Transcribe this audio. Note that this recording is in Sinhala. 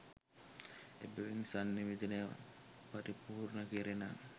එබැවින් සන්නිවේදනය පරිපූර්ණ කෙරෙන